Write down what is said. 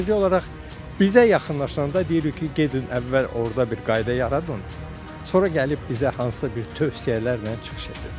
Sadəcə olaraq bizə yaxınlaşanda deyirik ki, gedin əvvəl orda bir qayda yaradın, sonra gəlib bizə hansısa bir tövsiyələrlə çıxış edin.